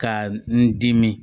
Ka n dimi